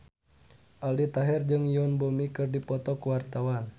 Aldi Taher jeung Yoon Bomi keur dipoto ku wartawan